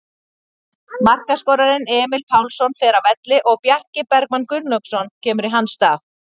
Markaskorarinn Emil Pálsson fer af velli og Bjarki Bergmann Gunnlaugsson kemur í hans stað.